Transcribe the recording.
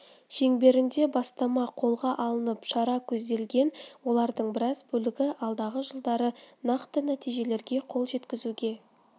шеңберінде бастама қолға алынып шара көзделген олардың біраз бөлігі алдағы жылдары нақты нәтижелерге қол жеткізуге